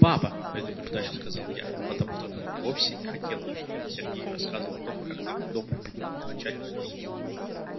папа предупреждающе сказала я потому что вовсе не хотела чтобы он сергею рассказывал о том как к нам в дом приходил их начальник